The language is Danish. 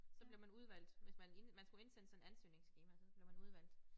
Så blev man udvalgt hvis man inden man skulle indsende sådan et ansøgningsskema så blev man udvalgt